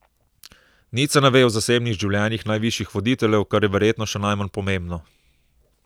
Nič se ne ve o zasebnih življenjih najvišjih voditeljev, kar je verjetno še najmanj pomembno.